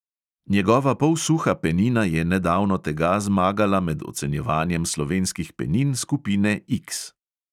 Njegova polsuha penina je nedavno tega zmagala med ocenjevanjem slovenskih penin skupine X!